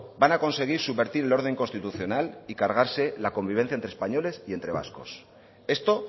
van a conseguir subvertir el orden institucional y cargarse la convivencia entre españoles y entre vascos esto